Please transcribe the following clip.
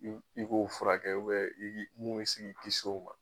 I i k'o furakɛ ubiyɛn mun bi si k'i kis'o ma